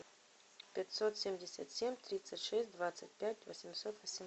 пятьсот семьдесят семь тридцать шесть двадцать пять восемьсот